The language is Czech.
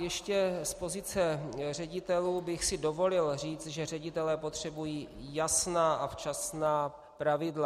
Ještě z pozice ředitelů bych si dovolil říct, že ředitelé potřebují jasná a včasná pravidla.